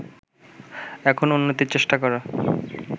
এখন উন্নতির চেষ্টা করা